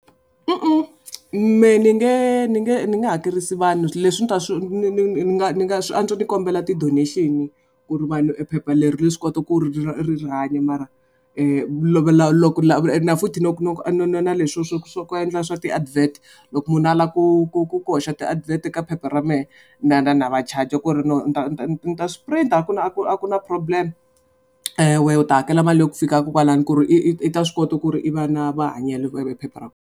Mehe ni nge ni nge ni nge hakerisi vanhu leswi ni ta swi ni nga ni nga swa antswa ni kombela ti donation-i ku ri vanhu ephepha leri ri swi kota ku ri ri hanya mara futhi loko leswi swa ku swa ku endla swa ti advert, loko munhu a lava ku ku ku hoxa ti advert eka phepha ra mehe na va charge-a ku ri ni ta swi print-a, a ku na problem wehe u ta hakela mali ya ku fika ko kwalano ku ri i ta swi kota ku ri i va na mahanyelo .